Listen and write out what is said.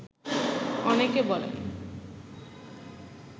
অনেকে বলেন